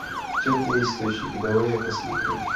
теплые источники давай я посмотрю